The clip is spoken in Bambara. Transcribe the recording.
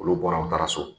Olu bɔra u taara so